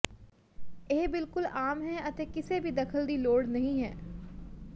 ਇਹ ਬਿਲਕੁਲ ਆਮ ਹੈ ਅਤੇ ਕਿਸੇ ਵੀ ਦਖਲ ਦੀ ਲੋੜ ਨਹੀ ਹੈ